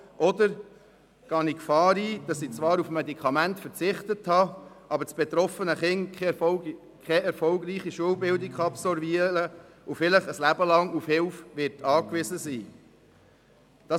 Oder gehe ich das Risiko ein, indem ich zwar auf ein Medikament verzichte, aber das betroffene Kind keine erfolgreiche Schulbildung absolvieren kann und vielleicht ein Leben lang auf Hilfe angewiesen sein wird?